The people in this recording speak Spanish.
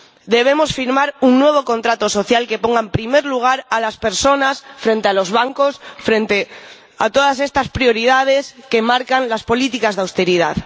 Debemos firmar un nuevo contrato social que ponga en primer lugar a las personas frente a los bancos, frente a todas estas prioridades que marcan las políticas de austeridad.